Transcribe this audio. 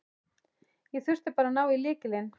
Ég þurfti bara að ná í lykilinn.